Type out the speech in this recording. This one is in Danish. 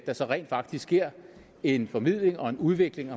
der så rent faktisk sker en formidling og en udvikling